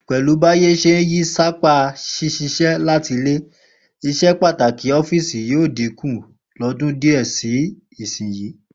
Pè̩lú báyé s̩e ń yí sápá s̩ís̩is̩é̩ láti ilé, ìs̩epàtàkì ó̩fíìsì yóò dínkù lọ́dún díè̩ sí ìsinyìí